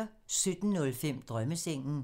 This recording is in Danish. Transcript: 17:05: Drømmesengen